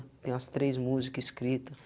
Tem umas três música escrita.